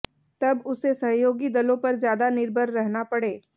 तब उसे सहयोगी दलों पर ज्यादा निर्भर रहना पड़े